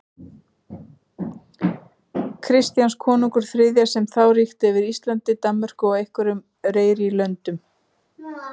Kristjáns konungs þriðja, sem þá ríkti yfir Íslandi, Danmörku og einhverjum fleiri löndum.